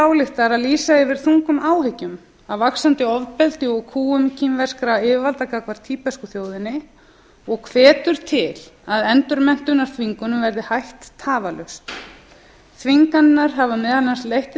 ályktar að lýsa yfir þungum áhyggjum af vaxandi ofbeldi og kúgun kínverskra yfirvalda gagnvart tíbesku þjóðinni og hvetur til að endurmenntunarþvingunum verði hætt tafarlaust þvinganirnar hafa meðal annars leitt til